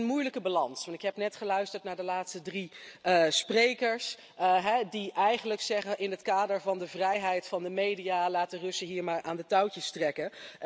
Dat is een moeilijke balans. Ik heb namelijk net geluisterd naar de laatste drie sprekers die eigenlijk zeggen in het kader van de vrijheid van de media laat de Russen hier maar aan de touwtjes trekken.